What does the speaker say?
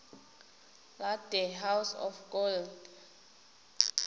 la the house of gold